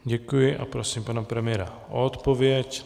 Děkuji a prosím pana premiéra o odpověď.